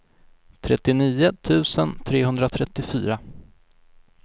trettionio tusen trehundratrettiofyra